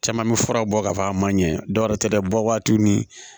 Caman bɛ fura bɔ k'a fɔ a ma ɲɛ dɔwɛrɛ tɛ dɛ bɔ waati ni